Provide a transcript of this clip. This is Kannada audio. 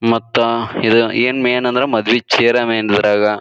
ಮತ್ತ ಇದು ಏನ್ ಮೇನ್ ಅಂದ್ರೆ ಮದ್ವೆ ಚೇರ್ ಆ ಮೈನ್ ಇದ್ರಾಗ.